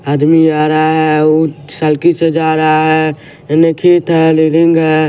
आदमी आ रहा है अ उ सलकी से जा रहा है निखित है रीडिंग है।